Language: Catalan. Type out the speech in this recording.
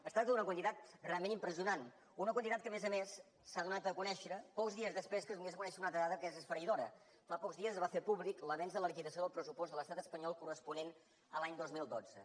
es tracta d’una quantitat realment impressionant una quantitat que a més a més s’ha donat a conèixer pocs dies després que es donés a conèixer una altra dada que es esfereïdora fa pocs dies es va fer públic l’avenç de la liquidació del pressupost de l’estat espanyol corresponent a l’any dos mil dotze